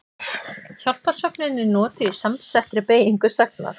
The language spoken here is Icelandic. Hjálparsögnin er notuð í samsettri beygingu sagnar.